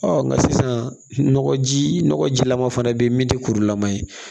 Ɔ nka sisan nɔgɔji nɔgɔ jilama fana bɛ yen min tɛ kurulama ye